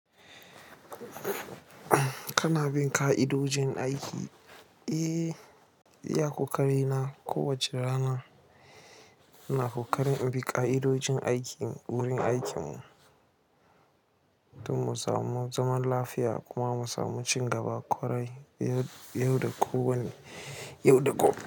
Kana bin ƙa'idojin aiki? Eh, iya ƙoƙari na. Kowace rana ina ƙoƙari in bi ƙa'idojin aiki wurin aikinmu, don mu samu zaman lafiya kuma mu samu cin gaba ƙwarai. Yau da ko wanne, yau da ko.